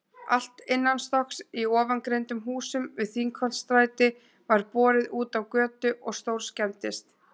Allt innanstokks í ofangreindum húsum við Þingholtsstræti var borið útá götu og stórskemmdist.